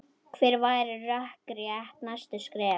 Hver væru rökrétt næstu skref?